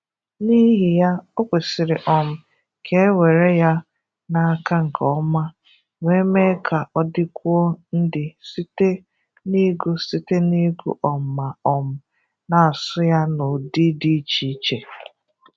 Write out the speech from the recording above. N’ihi ya, ọ̀ kwesị̀rị̀ um ka e were ya n’aka nke ọma, wee mee ka ọ dịkwuo ndị site n’ịgụ site n’ịgụ um ma um na-asụ ya n'ụ̀dị̀ dị iche iche.